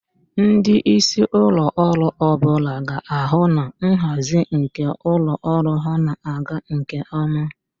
Ndị isi ụlọ ọrụ ọ bụla ga-ahụ na nhazi nke ụlọ ọrụ ahụ na-aga nke ọma